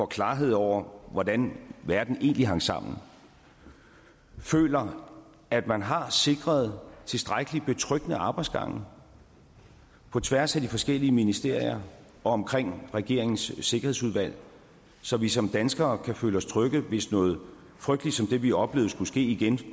klarhed over hvordan verden hang sammen føler at man har sikret tilstrækkelig betryggende arbejdsgange på tværs af de forskellige ministerier og omkring regeringens sikkerhedsudvalg så vi som danskere kan føle os trygge hvis noget frygteligt som det vi oplevede skulle ske igen